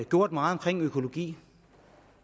gjort meget omkring økologi